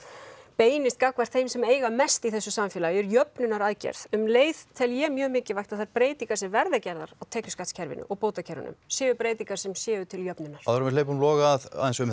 beinist gagnvart þeim sem eiga mest í þessu samfélagi jöfnunaraðgerð um leið tel ég mjög mikilvægt að þær breytingar sem verða gerðar á tekjuskattskerfinu og bótakerfinu séu breytingar sem séu til jöfnunar áður en við hleypum Loga að